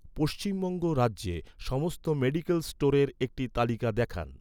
পশ্চিমবঙ্গ রাজ্যে, সমস্ত মেডিকেল স্টোরের একটি তালিকা দেখান